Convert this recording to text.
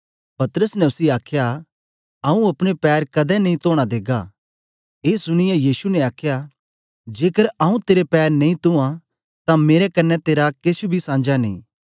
पतरस ने उसी आखया आऊँ अपने पैर कदें नेई तोना देगा ए सुनीयै यीशु ने आखया जेकर आऊँ तेरे पैर नेई तुयाँ तां मेरे कन्ने तेरा केछ बी सांझा नेई